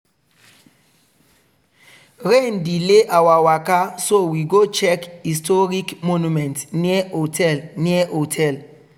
rain delay our waka so we go check historic monument near hotel. near hotel.